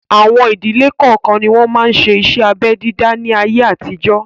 Àwọn ìdílé kọọ́kan ni wọn máa ń ṣe iṣẹ́ abẹ dídá ni ayé àtijọ́